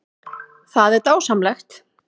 Það er bara dásamlegt